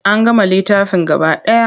An gama littafin gaba ɗaya.